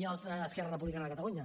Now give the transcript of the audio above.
i els d’esquerra republicana de catalunya